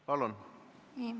Palun!